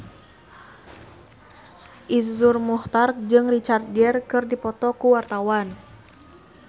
Iszur Muchtar jeung Richard Gere keur dipoto ku wartawan